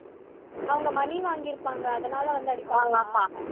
அவங்க money வாங்கிருப்பாங்க அதனால வந்து அடிப்பாங்களா